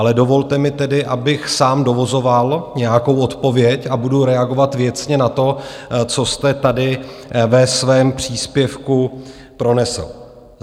Ale dovolte mi tedy, abych sám dovozoval nějakou odpověď a budu reagovat věcně na to, co jste tady ve svém příspěvku pronesl.